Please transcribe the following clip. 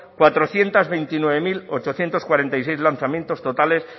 cuatrocientos veintinueve mil ochocientos cuarenta y seis lanzamientos totales